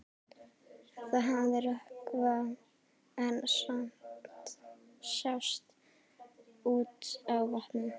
Það hafði rökkvað en samt sást út á vatnið.